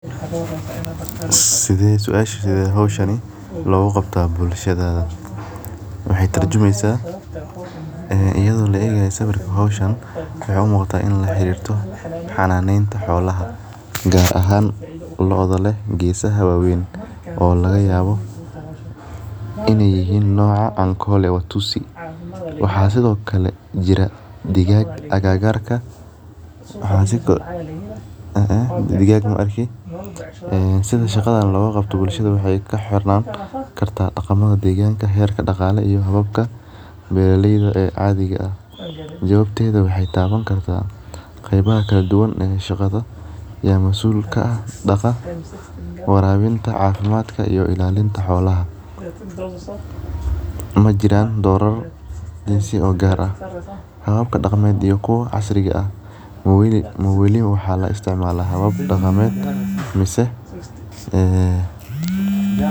Sithe suasheda hoshan loga qabtaa bulshadada waxee turjumeysa ee iyada oo laegaya sawirka waxee u muqataa xananeta xolaha gar ahan lodha leh gesaha wawen oo laga yawa in ee yahan noca alkole utisi waxaa sithokale jira digag agagarka sitha loga qabto waxee ku xirnana kartaa xerka deganka iyo robabka beera leyda cadhiga ah jawabta beera leyda waxee tawan kartaa qebaha kala duwan ee shaqada ya masul ka ah warabinta cafimadka ito ilalinta xolaha, hababka daqanka iyo kuwa casri ah mawali laisticmala habab daqamed mise.